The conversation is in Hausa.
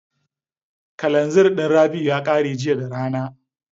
Kalanzir ɗin Rabi'u ya ƙare jiya da rana.